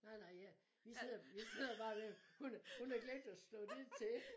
Nej nej jeg vi sidder vi sidder bare og er ved at hun har hun har glemt at slå det til